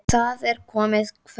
Það er komið kvöld.